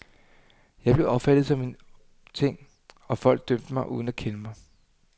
Jeg blev opfattet som en ting, og folk dømte mig uden at kende mig.